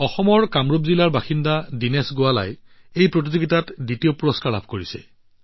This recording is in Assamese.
অসমৰ কামৰূপ জিলাৰ বাসিন্দা দিনেশ গোৱালাই এই প্ৰতিযোগিতাত দ্বিতীয় পুৰস্কাৰ লাভ কৰিছে